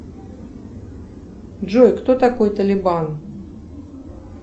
джой кто такой талибан